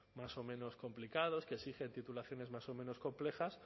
más o menos complicados que exigen titulaciones más o menos complejas